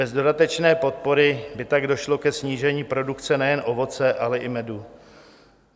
Bez dodatečné podpory by tak došlo ke snížení produkce nejen ovoce, ale i medu.